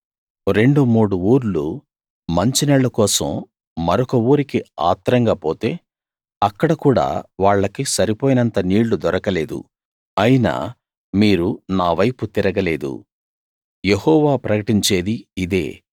రెండు మూడు ఊర్లు మంచినీళ్ళ కోసం మరొక ఊరికి ఆత్రంగా పోతే అక్కడ కూడా వాళ్లకి సరిపోయినంత నీళ్ళు దొరకలేదు అయినా మీరు నా వైపు తిరగలేదు యెహోవా ప్రకటించేది ఇదే